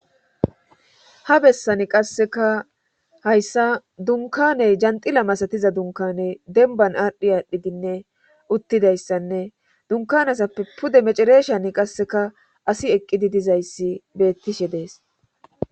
Ha bessani qasseka hayssa dunkaney janxila masatiza dunkaney denban adhi aadhdhidinne uttidayssanne dunkanasappe pude mecereeshan qasseka asi eqqidi dizayssi beettishe dees.